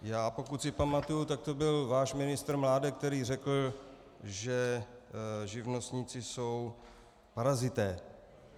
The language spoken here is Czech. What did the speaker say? Já, pokud si pamatuji, tak to byl váš ministr Mládek, který řekl, že živnostníci jsou parazité.